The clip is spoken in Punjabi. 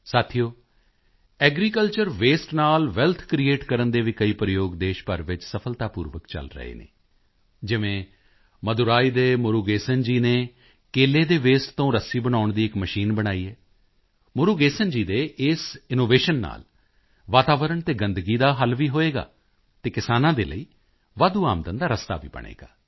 ਸਾਥੀਓ ਐਗਰੀਕਲਚਰ ਵਸਤੇ ਨਾਲ ਵੈਲਥ ਕ੍ਰਿਏਟ ਕਰਨ ਦੇ ਵੀ ਕਈ ਪ੍ਰਯੋਗ ਦੇਸ਼ ਭਰ ਵਿੱਚ ਸਫਲਤਾਪੂਰਵਕ ਚਲ ਰਹੇ ਹਨ ਜਿਵੇਂ ਮਦੁਰਈ ਦੇ ਮੁਰੂਗੇਸਨ ਜੀ ਨੇ ਕੇਲੇ ਦੇ ਵਸਤੇ ਤੋਂ ਰੱਸੀ ਬਣਾਉਣ ਦੀ ਇੱਕ ਮਸ਼ੀਨ ਬਣਾਈ ਹੈ ਮੁਰੂਗੇਸਨ ਜੀ ਦੇ ਇਸ ਇਨੋਵੇਸ਼ਨ ਨਾਲ ਵਾਤਾਵਰਣ ਅਤੇ ਗੰਦਗੀ ਦਾ ਵੀ ਹੱਲ ਹੋਵੇਗਾ ਅਤੇ ਕਿਸਾਨਾਂ ਦੇ ਲਈ ਵਾਧੂ ਆਮਦਨ ਦਾ ਰਸਤਾ ਵੀ ਬਣੇਗਾ